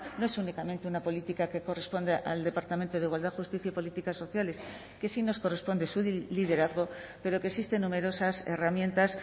no es únicamente una política que corresponde al departamento de igualdad justicia y políticas sociales que sí nos corresponde su liderazgo pero que existen numerosas herramientas